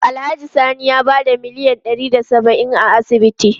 Alhaji Sani ya bada miliyan ɗari da saba'in a asibitin.